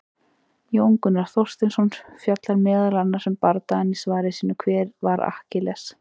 Jón Gunnar Þorsteinsson fjallar meðal annars um bardagann í svari sínu, Hver var Akkiles?